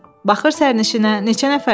Baxır sərnişinə, neçə nəfərdir?